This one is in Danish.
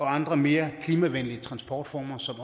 andre mere klimavenlige transportformer som